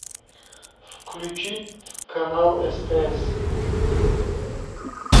включить канал стс